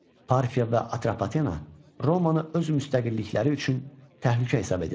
Parfiya və Atropatena Romanı öz müstəqillikləri üçün təhlükə hesab edirdilər.